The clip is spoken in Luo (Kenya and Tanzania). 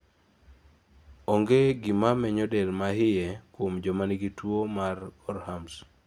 onge gima menyo del mahie kuom joma nigi tuo mar Gorhams